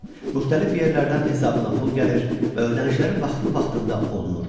Müxtəlif yerlərdən hesabına pul gəlir və ödənişləri vaxtlı-vaxtında olunurdu.